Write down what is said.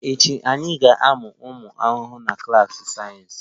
Echi, anyị ga-amụ ụmụ ahụhụ na klas sayensị